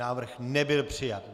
Návrh nebyl přijat.